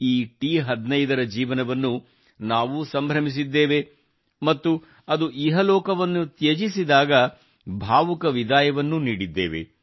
ಈ ಟಿ15 ರ ಜೀವನವನ್ನು ನಾವೂ ಸಂಭ್ರಮಿಸಿದ್ದೇವೆ ಮತ್ತು ಅದು ಇಹಲೋಕವನ್ನು ತ್ಯಜಿಸಿದಾಗ ಭಾವುಕ ವಿದಾಯವನ್ನೂ ನೀಡಿದ್ದೇವೆ